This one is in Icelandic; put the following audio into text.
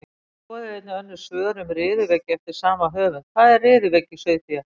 Skoðið einnig önnur svör um riðuveiki eftir sama höfund: Hvað er riðuveiki í sauðfé?